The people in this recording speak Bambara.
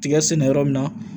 Tiga sɛnɛ yɔrɔ min na